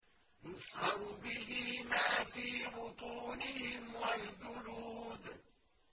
يُصْهَرُ بِهِ مَا فِي بُطُونِهِمْ وَالْجُلُودُ